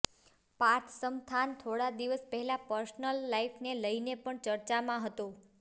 પાર્થ સમથાન થોડા દિવસ પહેલા પર્સનલ લાઈફને લઈને પણ ચર્ચામાં હતો